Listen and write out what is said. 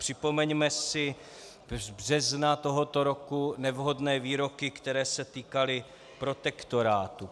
Připomeňme si z března tohoto roku nevhodné výroky, které se týkaly protektorátu.